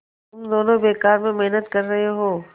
तुम दोनों बेकार में मेहनत कर रहे हो